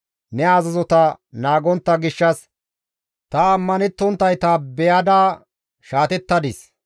Ne azazota naagontta gishshas ta ammanettonttayta beyada shaatettadis.